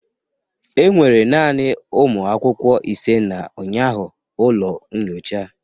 Enwere naanị ụmụ akwụkwọ ise na ụnyaahụ ụlọ nyocha